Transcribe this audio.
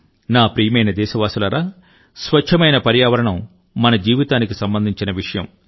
నా ప్రియమైన దేశవాసులారా స్వచ్చమైన పర్యావరణం మన జీవితానికి సంబంధించిన విషయం